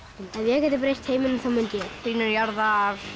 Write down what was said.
ef ég gæti breytt heiminum þá mundi ég hlýnun jarðar